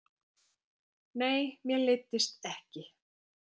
Nei, mér leiddist ekki.